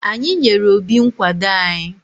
Anyị nyere Obi nkwado anyị.